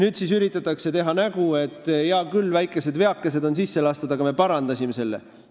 Nüüd siis üritatakse teha nägu, et hea küll, väike veake on sisse lastud, aga me parandasime selle.